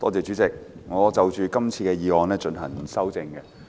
主席，我就今天的議案提出修正案。